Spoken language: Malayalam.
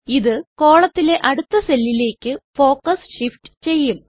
ഇത് കോളത്തിലെ അടുത്ത സെല്ലിലേക്ക് ഫോക്കസ് ഷിഫ്റ്റ് ചെയ്യും